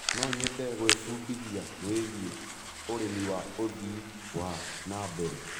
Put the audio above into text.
No nyende gwĩbundithia wĩgie ũrĩmi wa ũthii wa na mbere.